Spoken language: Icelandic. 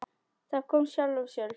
Það kom af sjálfu sér.